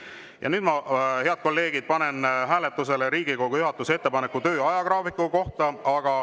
Ja nüüd, head kolleegid, ma panen hääletusele Riigikogu juhatuse ettepaneku töö ajagraafiku kohta.